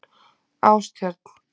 Ástjörn